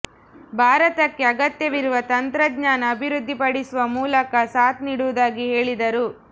ಭಾರತಕ್ಕೆ ಅಗತ್ಯವಿರುವ ತಂತ್ರಜ್ಞಾನ ಅಭಿವೃದ್ಧಿ ಪಡಿಸುವ ಮೂಲಕ ಸಾಥ್ ನೀಡುವುದಾಗಿ ಹೇಳಿದರು